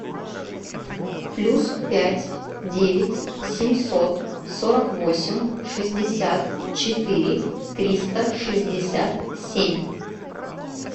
плюс пять девять семьсот сорок восемь шестьдесят четыре триста шестьдесят семь